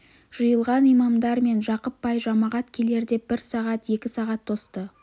жиылған имамдар мен жақып бай жамағат келер деп бір сағат екі сағат тосты